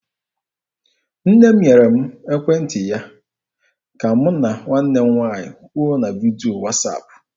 Nne m nyere m ekwentị ya ka mụ na nwanne m nwaanyị kwuo na vidio wasaapụ.